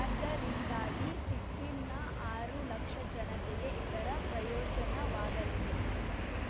ಆದ್ದರಿಂದಾಗಿ ಸಿಕ್ಕಿಂನ ಆರು ಲಕ್ಷ ಜನತೆಗೆ ಇದರ ಪ್ರಯೋಜನವಾಗಲಿದೆ